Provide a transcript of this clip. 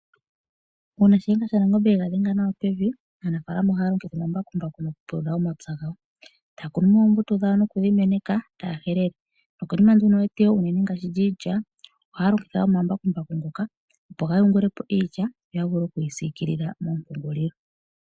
Uuna shiyenga shanangombe ega dhenga nawa pevi, aanafalama ohaa longitha omambakumbaku mokupulula omapya gawo. Taa kunumo oombuto dhawo nokudhi meneka taa helele. Nokonima nduno yeteyo uunene ngaashi lyiilya, ohaa longitha omambakumbaku ngoka opo ga yungulepo iilya yo ya vule okuyi sikilila moompungulilo.